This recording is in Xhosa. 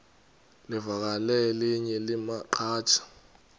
livakele elinye lamaqhaji